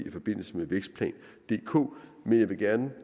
i forbindelse med vækstplan dk jeg vil gerne